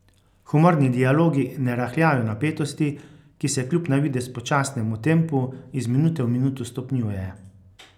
Humorni dialogi ne rahljajo napetosti, ki se kljub na videz počasnemu tempu iz minute v minuto stopnjuje.